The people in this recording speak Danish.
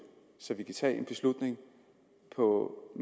så vi kan tage en beslutning på